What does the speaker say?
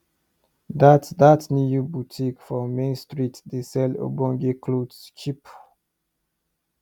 dat dat new botik for main street dey sell ogbonge clothes cheap